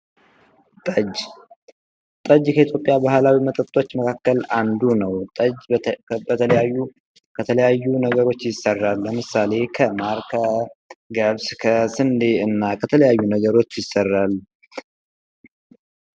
ጠጅ ጠጅ ከኢትዮጵያ ባህላዊ መጠጦች መካከል አንዱ ነው ጠጅ በተለያዩ ከተለያዩ ነገሮች ይሰራል። ለምሳሌ ከማር ከገብስ ከስንዴ እና ከተለያዩ ነገሮች ይሰራል።